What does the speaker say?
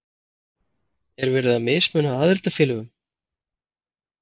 Er verið að mismuna aðildarfélögum?